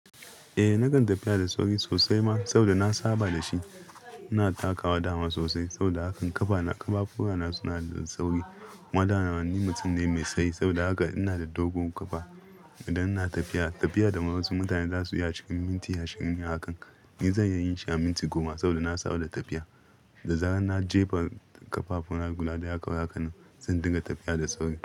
Eh, nakan tafiya da sauri sosai ma saboda na saba da shi. Ina takawa da hannu sosai saboda haka ƙafafu na suna da sauri. Kuma daman ni mutum ne mai tsayi saboda haka ina da dogon ƙafa. Idan ina tafiya, tafiya da wasu mutane za su iya cikin minti ashirin yi hakan, ni zan iya yin shi a minti goma saboda na saba da tafiya. Da zarar na jefa ƙafafu na guda daya kawai haka, zan dinga tafiya da sauri.